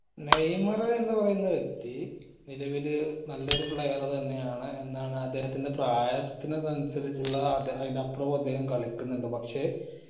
Neymar എന്ന് പറയുന്ന വ്യക്തി നിലവില് നല്ലൊരു player തന്നെ ആണ് എന്താണ് അദ്ദേഹത്തിന്റെ പ്രായത്തിനഅനുസരിച്ചിള്ള അയി അയിന്റെ അപ്പറോം അദ്ദേഹം കളിക്കിന്നുണ്ട് പക്ഷെ